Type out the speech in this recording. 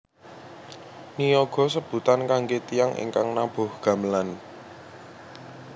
Niyaga sebutan kangge tiyang ingkang nabuh gamelan